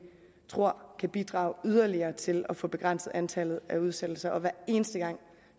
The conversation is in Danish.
tror kan bidrage yderligere til at få begrænset antallet af udsættelser og hver eneste gang